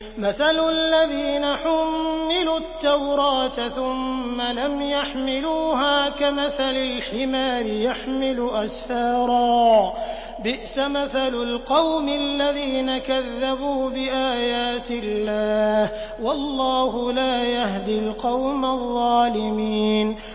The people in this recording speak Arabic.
مَثَلُ الَّذِينَ حُمِّلُوا التَّوْرَاةَ ثُمَّ لَمْ يَحْمِلُوهَا كَمَثَلِ الْحِمَارِ يَحْمِلُ أَسْفَارًا ۚ بِئْسَ مَثَلُ الْقَوْمِ الَّذِينَ كَذَّبُوا بِآيَاتِ اللَّهِ ۚ وَاللَّهُ لَا يَهْدِي الْقَوْمَ الظَّالِمِينَ